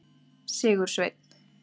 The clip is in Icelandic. Sigursveinn